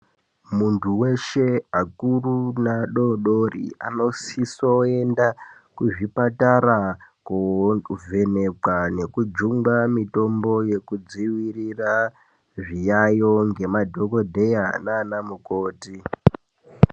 Muntu weshe akuru neadodori anosiso enda kuzvipatara kovhenekwa nekujungwa mitombo yekudzivirira zviyayo ngemadhokodheya nana mukoti .